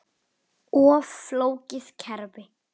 Of flókið kerfi?